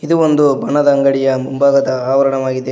ಇದು ಒಂದು ಬಣ್ಣದ ಅಂಗಡಿಯ ಮುಂಭಾಗದ ಆವರಣವಾಗಿದೆ.